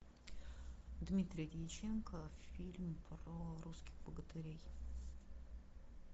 дмитрий дьяченко фильм про русских богатырей